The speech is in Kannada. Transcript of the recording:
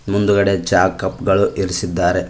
ಮುಂದಗಡೆ ಚಾ ಕಪ್ ಗಳು ಇರಿಸಿದ್ದಾರೆ.